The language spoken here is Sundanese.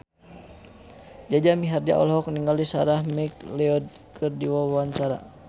Jaja Mihardja olohok ningali Sarah McLeod keur diwawancara